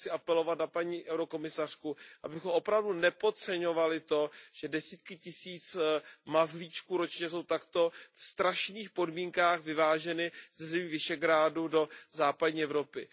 Já chci apelovat na paní komisařku, abychom opravdu nepodceňovali to, že desítky tisíc mazlíčků ročně jsou v takto strašných podmínkách vyváženy ze zemí Visegrádu do západní Evropy.